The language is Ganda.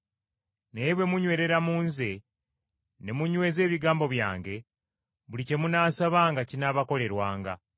Naye bwe munywerera mu Nze ne munyweza ebigambo byange, buli kye munaasabanga kinaabakolerwanga.